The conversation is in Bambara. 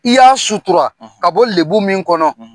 I y'a sutura ka bɔ lebu min kɔnɔ.